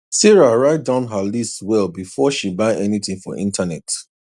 sarah write down her list well before she buy anything for internet